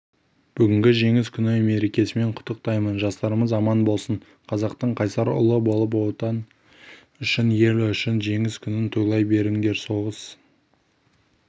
бүгінгі жеңіс күні мерекесімен құттықтаймын жастарымыз аман болсын қазақтың қайсар ұлы болып отан үшін ел үшін жеңіс күнін тойлай беріңдер соғыс